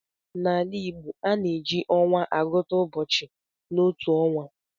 N'ala Igbo, a na-eji ọnwa agụta ụbọchị n'otu ọnwa